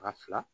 Ka fila